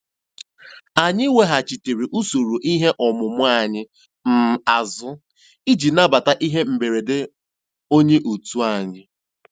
Anyị weghachitere usoro ihe omume anyị um azụ iji nabata ihe mberede onye otu anyị.